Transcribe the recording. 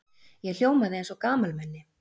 Ég hljómaði eins og gamalmenni.